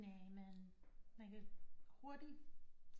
Næ men man kan hurtigt